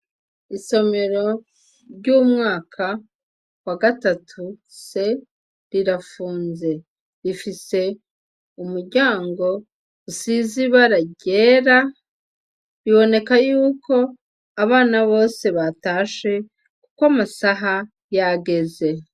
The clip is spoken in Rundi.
Isomero ry' umwaka wa gatatu c rirafunze rifise umuryango usize ibara ryera biboneka yuko abana bose batashe ko amasaha yageze.